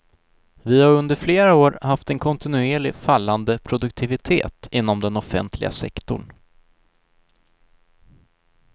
Vi har under flera år haft en kontinuerligt fallande produktivitet inom den offentliga sektorn.